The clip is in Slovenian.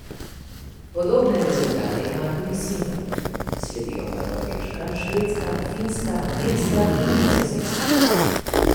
Podobne rezultate ima tudi Singapur, sledijo pa Norveška, Švedska, Finska, Irska in Nizozemska.